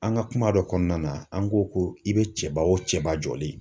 An ka kuma dɔ kɔnɔna na, an ko ko i be cɛba o cɛba jɔlen